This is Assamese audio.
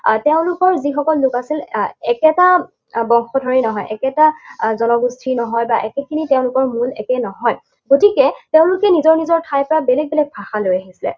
আৰু তেওঁলোকৰ যিসকল লোক আছিল, একেটা বংশধৰেই নহয়, একেটা আহ জনগোষ্ঠীৰ নহয় বা একেটিয়েই তেওঁলোকৰ মূল একেই নহয়। গতিকে তেওঁলোকে নিজৰ নিজৰ ঠাইৰ পৰা বেলেগ বেলেগ ভাষা লৈ আহিছে।